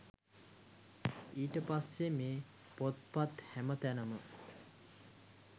ඊට පස්සේ මේ පොත්පත් හැමතැනම